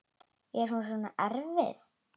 Er hún svona erfið?